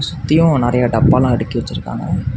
சுத்தியு நறைய டப்பாலா அடுக்கி வச்சிருக்காங்க.